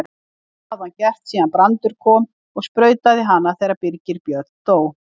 Það hafði hann gert síðan Brandur kom og sprautaði hana þegar Birgir Björn dó.